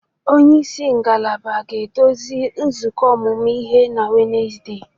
Onye isi ngalaba ga-eduzi nzukọ ọmụmụ ihe na Wednesde